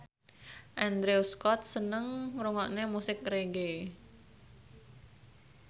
Andrew Scott seneng ngrungokne musik reggae